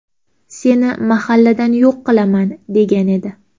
Seni mahalladan yo‘q qilaman!”, degan edi.